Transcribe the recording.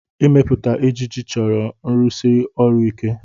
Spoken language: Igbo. Ịmepụta ejiji chọrọ nrụsi ọrụ ike.